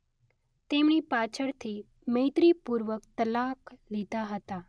તેમણે પાછળથી મૈત્રીપૂર્વક તલાક લીધા હતા.